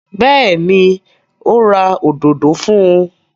Bẹ́ẹ̀ ni, ó ra òdòdó fún un.